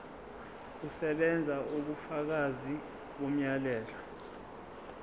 kusebenza ubufakazi bomyalelo